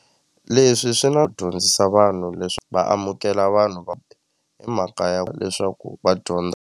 Leswi swi nga dyondzisa vanhu leswi va amukela vanhu emakaya leswaku va dyondza.